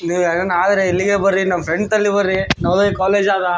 ಇಲ್ಲಿ ಏನಾದರ ಇಲ್ಲಿಗೆ ಬರ್ರೀ ನಮ್ಮ್ ಫ್ರೆಂಡ್ಸ್ ಅಲ್ಲಿ ಬರ್ರೀ ನವೋದಯ ಕಾಲೇಜ್ ಆದ.